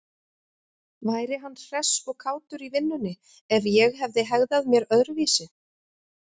Væri hann hress og kátur í vinnunni ef ég hefði hegðað mér öðruvísi?